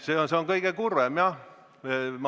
See on kõige kurvem.